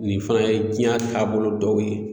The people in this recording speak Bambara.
Nin fɛnɛ ye jiɲa taabolo dɔw ye